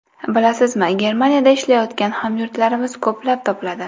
Bilasizmi, Germaniyada ishlayotgan hamyurtlarimiz ko‘plab topiladi.